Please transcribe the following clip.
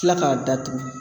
Kila k'a datugu